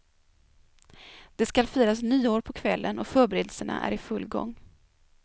Det skall firas nyår på kvällen och förberedelserna är i full gång.